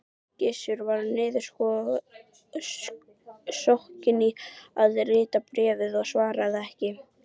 Gizur var niðursokkinn í að rita bréfið og svaraði ekki.